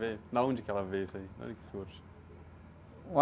Vem, da onde que ela veio isso aí? De onde é que surge?